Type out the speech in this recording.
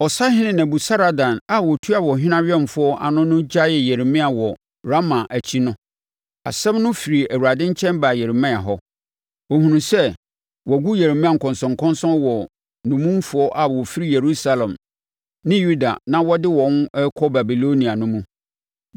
Ɔsahene Nebusaradan a ɔtua ɔhene awɛmfoɔ ano no gyaee Yeremia wɔ Rama akyi no, asɛm no firi Awurade nkyɛn baa Yeremia hɔ. Ɔhunuu sɛ, wɔagu Yeremia nkɔnsɔnkɔnsɔn wɔ nnommumfoɔ a wɔfiri Yerusalem ne Yuda a na wɔde wɔn rekɔ Babilonia no mu.